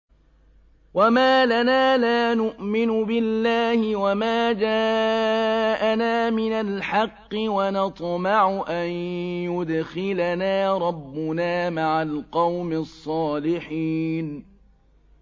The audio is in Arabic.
وَمَا لَنَا لَا نُؤْمِنُ بِاللَّهِ وَمَا جَاءَنَا مِنَ الْحَقِّ وَنَطْمَعُ أَن يُدْخِلَنَا رَبُّنَا مَعَ الْقَوْمِ الصَّالِحِينَ